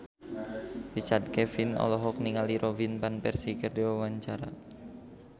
Richard Kevin olohok ningali Robin Van Persie keur diwawancara